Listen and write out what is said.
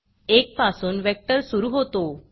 1 पासून वेक्टर सुरू होतो